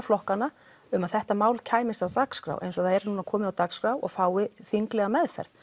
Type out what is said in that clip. flokka um að þetta mál kæmist á dagskrá og það er komið á dagskrá og fái þinglega meðferð